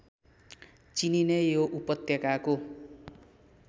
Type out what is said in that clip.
चिनिने यो उपत्यकाको